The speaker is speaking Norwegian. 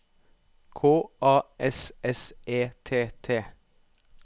K A S S E T T